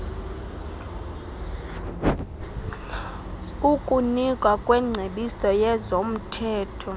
ukunikwa kwengcebiso yezomthetho